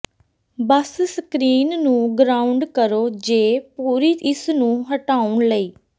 ਬਸ screen ਨੂੰ ground ਕਰੋ ਜ ਪੂਰੀ ਇਸ ਨੂੰ ਹਟਾਉਣ ਲਈ